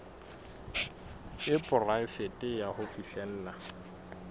e poraefete ya ho fihlella